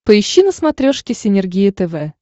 поищи на смотрешке синергия тв